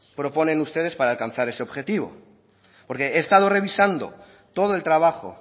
proponen ustedes para alcanzar ese objetivo porque he estado revisando todo el trabajo